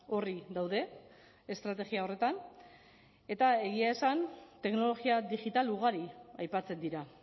orri daude estrategia horretan eta egia esan teknologia digital ugari aipatzen dira